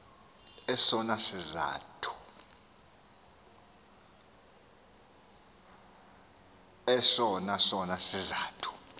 esona sona sizathu